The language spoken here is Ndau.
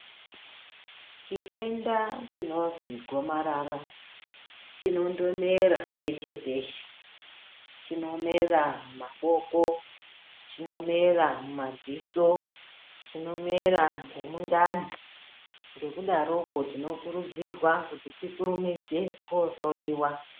Chitenda chinozwi gomarara chinondomera peshe-peshe. Chinomera mumaboko, chinomera mumadziso, chinomera ngemundani. Ngekudaroko tinokurudzirwa kuti tikurumidze koohloyiwa.